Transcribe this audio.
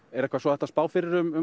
er eitthvað hægt að spá fyrir um